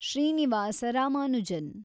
Srinivasa Ramanujan